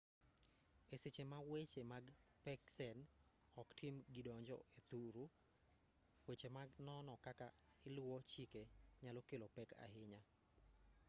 e seche ma weche mag peksen oktim kidonjo e thuru weche mag nono kaka iluwo chike nyalo kelo pek ahinya